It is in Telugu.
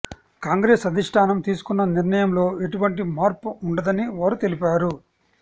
కాంగ్రెస్ అధిష్టానం తీసుకున్న నిర్ణయంలో ఎటువంటి మార్పు ఉండదని వారు తెలిపారు